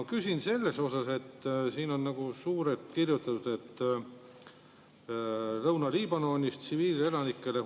Aga küsin selle kohta, et siin on suurelt kirjutatud, et sellega toetatakse Lõuna-Liibanonis